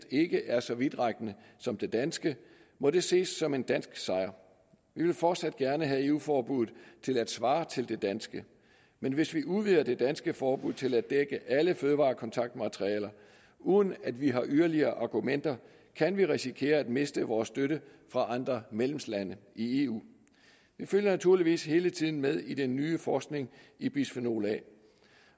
ikke er så vidtrækkende som det danske må det ses som en dansk sejr vi vil fortsat gerne have eu forbuddet til at svare til det danske men hvis vi udvider det danske forbud til at dække alle fødevarekontaktmaterialer uden at vi har yderligere argumenter kan vi risikere at miste vores støtte fra andre medlemslande i eu vi følger naturligvis hele tiden med i den nye forskning i bisfenol a